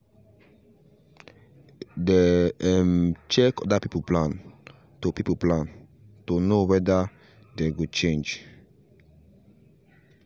they um check other people plan to people plan to know wether dey go change